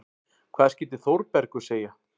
Hvað skyldi Þórbergur segja?